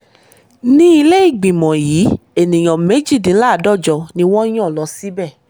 ní ilé ìgbìmọ̀ yìí ènìyàn méjìdínláàádọ́jọ ni wọ́n yan lọ síbẹ̀